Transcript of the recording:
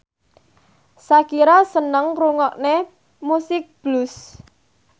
Shakira seneng ngrungokne musik blues